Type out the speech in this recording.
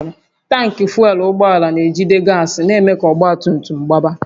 Tankị fuel ụgbọala na-ejide gas na-eme ka ọgba tum tum gbaba